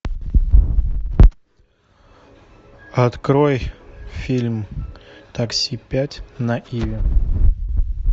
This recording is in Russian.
открой фильм такси пять на иви